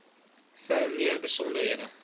vir meer besonderhede